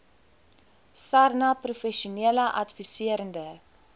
sarnap professionele adviserende